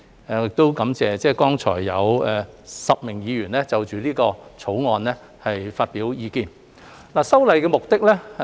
我亦感謝剛才有10位議員就此《條例草案》發表意見。